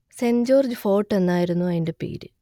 saint George fort എന്നായിരുന്നു അതിന്റെ പേര്